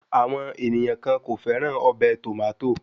Àwọn ènìyàn kàn kò fẹ́ràn ọbẹ̀ Tòmátò